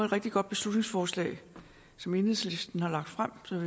rigtig godt beslutningsforslag som enhedslisten har fremsat